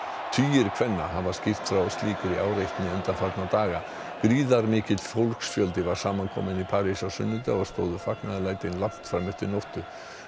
tugir kvenna hafa skýrt frá slíkri áreitni undanfarna daga gríðarmikill fólksfjöldi var saman kominn í París á sunnudag og stóðu fagnaðarlæti langt fram eftir nóttu